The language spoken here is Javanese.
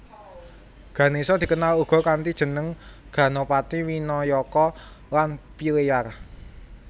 Ganésa dikenal uga kanthi jeneng Ganapati Winayaka lan Pilleyar